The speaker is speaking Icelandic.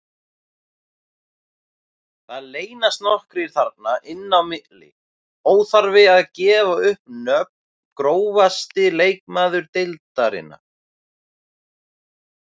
Það leynast nokkrir þarna inn á milli, óþarfi að gefa upp nöfn Grófasti leikmaður deildarinnar?